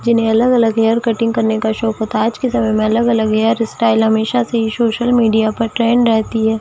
जिन्हें अलग-अलग hair cutting करने का शौक होता है आज के समय हेअलग-अलग हेयर स्टाइल हमेशा सोशल मीडिया पर ट्रेंड रहती है।